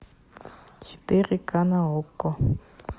четыре ка на окко